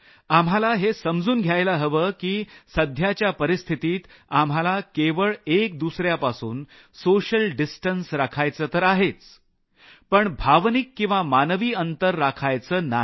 आम्हाला हे समजून घ्यायला हवं की सध्याच्या परिस्थितीत आम्हाला केवळ एक दुसऱ्यापासून सामाजिक अंतर राखायचं तर आहेच पण भावनिक किंवा मानवी अंतर राखायचं नाही